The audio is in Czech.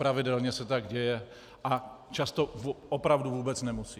Pravidelně se tak děje a často opravdu vůbec nemusí.